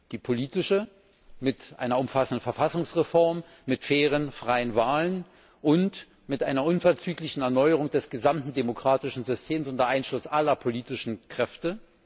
Die politische mit einer umfassenden Verfassungsreform, mit fairen und freien Wahlen, und mit einer unverzüglichen Erneuerung des gesamten demokratischen Systems unter Einschluss aller politischen Kräfte.